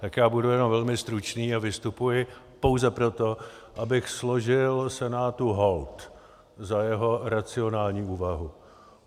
Tak já budu jen velmi stručný a vystupuji pouze proto, abych složil Senátu hold za jeho racionální úvahu.